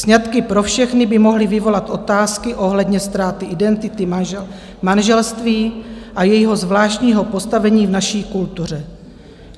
Sňatky pro všechny by mohly vyvolat otázky ohledně ztráty identity, manželství a jejho zvláštního postavení v naší kultuře.